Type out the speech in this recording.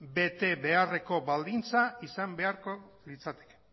betebeharreko baldintza izan beharko litzateke